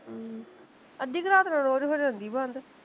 ਹਮ ਅੱਧੀ ਕੁ ਰਾਤ ਨੂੰ ਰੋਜ ਹੋ ਜਾਂਦੀ ਬੰਦ